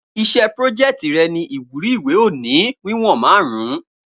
Iṣẹ́ prójeẹ̀tì rè ni ìwúrí ìwé òní wíwòn márùn-ún